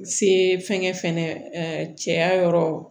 Se fɛnkɛ fɛnɛ cɛya yɔrɔ